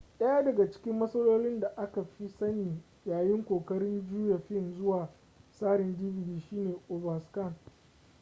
daya daga cikin matsalolin da aka fi sani yayin kokarin juya fim zuwa tsarin dvd shine overscan